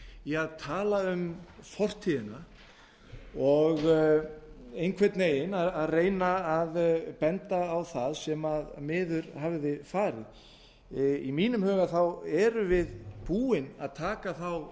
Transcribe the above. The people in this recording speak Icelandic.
í að tala um fortíðina ég einhvern veginn reyna að benda á það sem miður hafði farið í mínum huga erum við búin að taka þá